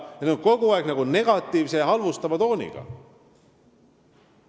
Need on kogu aeg olnud negatiivse ja halvustava tooniga.